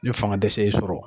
Ni fanga dɛsɛ y'i sɔrɔ.